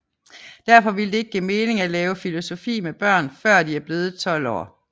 Derfor ville det ikke give mening at lave filosofi med børn før de er blevet 12 år